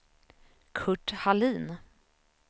Curt Hallin